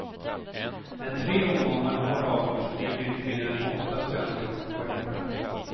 När tre omgångar har avgjorts ligger inte mindre än åtta svenskar på poängplats.